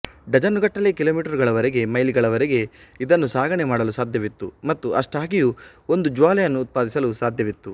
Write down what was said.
ಡಜನ್ನುಗಟ್ಟಲೆ ಕಿಲೋಮೀಟರುಗಳವರೆಗೆ ಮೈಲಿಗಳವರೆಗೆ ಇದನ್ನು ಸಾಗಣೆ ಮಾಡಲು ಸಾಧ್ಯವಿತ್ತು ಮತ್ತು ಅಷ್ಟಾಗಿಯೂ ಒಂದು ಜ್ವಾಲೆಯನ್ನು ಉತ್ಪಾದಿಸಲು ಸಾಧ್ಯವಿತ್ತು